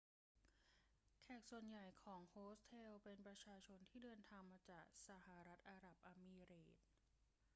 แขกส่วนใหญ่ของโฮสเทลเป็นประชาชนที่เดินทางมาจากสหรัฐอาหรับเอมิเรตส์